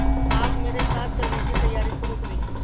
आप मेरे साथ चलने की तैयारी शुरू करें